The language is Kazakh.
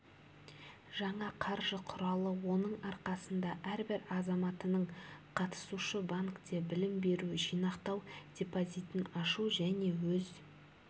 жаңа қаржы құралы оның арқасында әрбір азаматының қатысушы банкте білім беру жинақтау депозитін ашу және өз